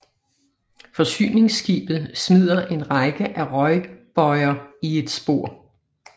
Forsyningsskibet smider en række af røgbøjer i et spor